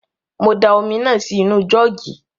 Mo da omi náà sí nu jọ́ọ̀gì